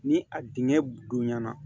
Ni a dingɛ bonyana